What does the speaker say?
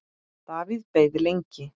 Davíð beið lengi.